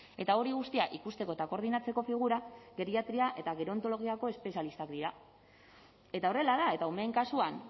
eta hori guztia ikusteko eta koordinatzeko figura geriatria eta gerontologiako espezialistak dira eta horrela da eta umeen kasuan